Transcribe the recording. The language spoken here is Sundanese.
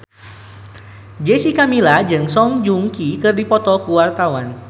Jessica Milla jeung Song Joong Ki keur dipoto ku wartawan